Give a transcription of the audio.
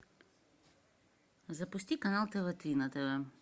запусти канал тв три на тв